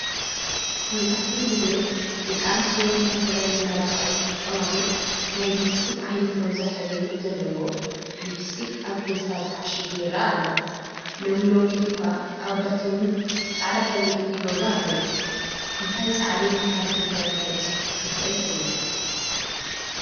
መብዛሕትኡ ጊዜ ደቂ ኣንስትዮ ንከንፈረን መመላኽዒ ዝጥቀማሉ ናይ ሊፒስቲክ ዓይነት ሮዛ ሕብሪ ዘለዎ ሊፒስቲክ ኣብ ፌስታል ተዓሺጉ ይረአ ኣሎ፡፡ ሎሚ ሎሚ እኳ ኣወዳት ውን ብፃዕ ሕብሪ ያ ይገብሩ ኣለው፡፡ እንታይ ሳዕቤን ኣብ ከንፈረን ከብፅሕ ይኽእል ትብሉ?